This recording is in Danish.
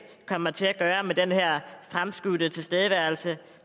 kommer til at gøre med den her fremskudte tilstedeværelse